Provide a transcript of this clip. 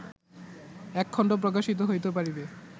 এক খণ্ড প্রকাশিত হইতে পারিবে